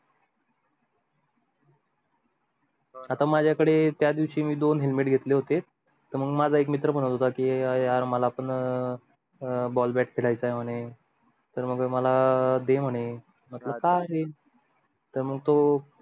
आता मजा कडे त्या दिवशी मी दोन helmet घेतले होते त मंग मजा एक मित्र म्हणत होता की यार मला पन अं ball bat खेडायच आहे म्हणे तर मग मला दे म्हणे म्हंटल का रे तर मग तो